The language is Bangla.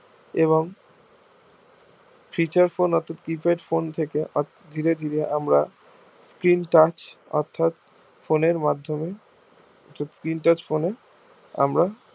এবং feature phone অর্থাৎ keypad phone থেকে ধীরে ধীরে আমরা skin touch অর্থাৎ phone এর মাধ্যমে যে skin touch phone এ আমরা